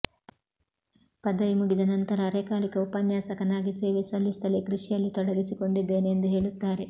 ಪದವಿ ಮುಗಿದ ನಂತರ ಅರೆಕಾಲಿಕ ಉಪನ್ಯಾಸಕನಾಗಿ ಸೇವೆ ಸಲ್ಲಿಸುತ್ತಲೇ ಕೃಷಿಯಲ್ಲಿ ತೊಡಗಿಸಿಕೊಂಡಿದ್ದೇನೆ ಎಂದು ಹೇಳುತ್ತಾರೆ